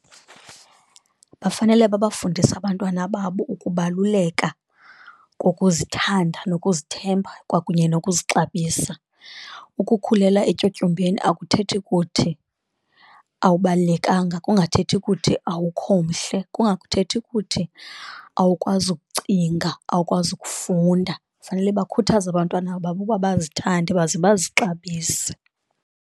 Bafanele babafundise abantwana babo ukubaluleka kokuzithanda nokuzithemba kwakunye nokuzixabisa, ukukhulela etyotyombeni akuthethi kuthi awubalulekanga, kungathethi kuthi awukho mhle. Kungakhethi ukuthi awukwazi ukucinga, awukwazi ukufunda. Fanele bakhuthaze abantwana babo uba bazithande baze bazixabise.